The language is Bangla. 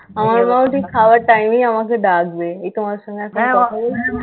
হ্যাঁ আমার বাবা আমার মা খাওয়ার time এই আমাকে ডাকবে. এই তোমার সঙ্গে একটা